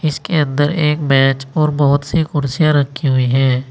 इसके अंदर एक बेंच और बहोत सी कुर्सियां रखी हुई है।